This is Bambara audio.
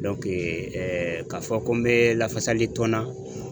ka fɔ ko n be lafasali tɔn na